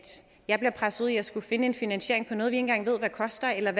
jeg bliver presset ud i at skulle finde en finansiering på noget vi ikke engang ved hvad koster eller